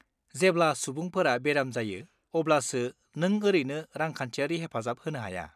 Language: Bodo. जेब्ला सुबुंफोरा बेराम जायो अब्लासो नों ओरैनो रांखान्थियारि हेफाजाब होनो हाया।